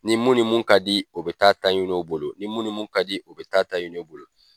Ni mun ni mun ka di u bɛ ta'a ta ɲini o bolo ni mun ni mun ka di o bɛ ta'a ta ɲini o bolo